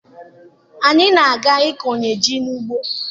Anyị na-aga ịkọnye ji n'ugbo.